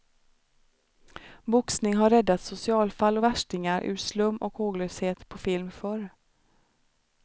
Boxning har räddat socialfall och värstingar ur slum och håglöshet på film förr.